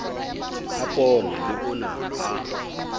a poone le ona a